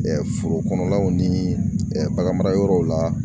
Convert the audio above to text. Foro kɔnɔlaw ni bagan mara yɔrɔw la.